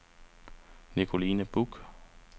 Nicoline Buch